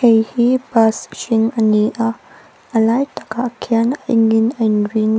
khi khi bus hring ani a a lai tak ah khian a eng in a in rin.